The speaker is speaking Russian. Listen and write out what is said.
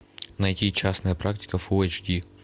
найти частная практика фулл эйч ди